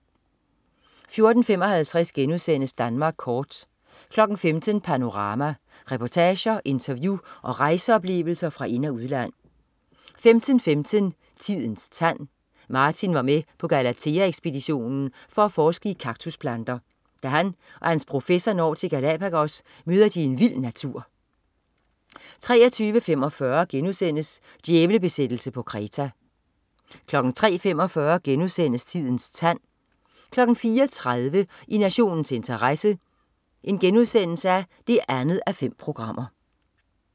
14.55 Danmark kort* 15.00 Panorama. Reportager, interview og rejseoplevelser fra ind- og udland 15.15 Tidens tand. Martin var med på Galathea ekspeditionen for at forske i kaktusplanter. Da han og hans professor når til Galapagos møder de en vild natur 23.45 Djævlebesættelse på Kreta* 03.45 Tidens tand* 04.30 I nationens interesse 2:5*